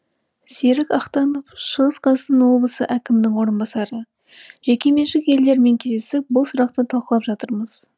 серік ақтанов шығыс қазақстан облысы әкімінің орынбасары жекеменшік иелерімен кездесіп бұл сұрақты талқылап жатырмыз